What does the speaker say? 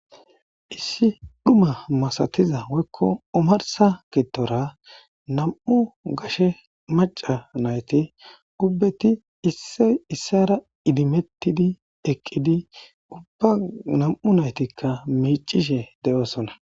Issi dhuma masatiza woykko omarssa giddora nam7u gashe macca naytti gubbeti issoy issuwara idimetidi eqqidi ubba nam7u nayttikka miiccishe de7osona.